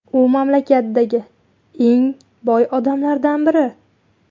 U mamlakatdagi eng boy odamlardan biri.